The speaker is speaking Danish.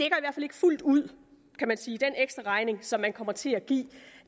fuldt ud kan man sige den ekstraregning som man kommer til at give